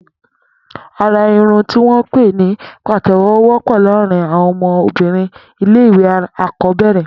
Àrà irùn tiwọn pé ni pátẹ̀wọ̀ wọpọ làárin awọn ọmọ òbìrín ilé iwé ákọ̀bẹrẹ̀